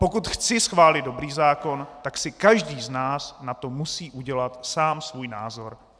Pokud chci schválit dobrý zákon, tak si každý z nás na to musí udělat sám svůj názor.